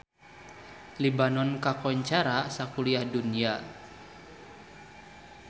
Libanon kakoncara sakuliah dunya